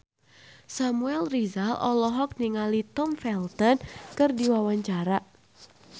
Samuel Rizal olohok ningali Tom Felton keur diwawancara